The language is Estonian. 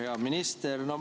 Hea minister!